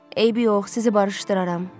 Eybi yox, sizi barışdıraram.